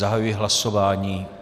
Zahajuji hlasování.